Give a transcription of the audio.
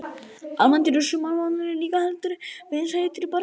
Almennt eru sumarmánuðirnir líka heldur vinsælli til barneigna.